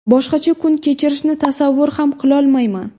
Boshqacha kun kechirishni tasavvur ham qilolmayman.